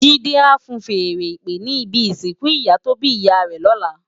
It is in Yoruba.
Jide á fúùn fèèrè ìpè ni ibi isinkù iyá tó bi iyá rè lòlá